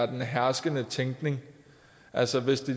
den herskende tænkning altså hvis det